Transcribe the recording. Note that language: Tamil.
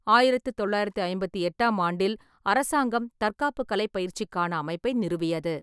ஆயிரத்து தொள்ளாயிரத்து ஐம்பத்தி எட்டாம் ஆண்டில் அரசாங்கம் தற்காப்புக் கலைப் பயிற்சிக்கான அமைப்பை நிறுவியது.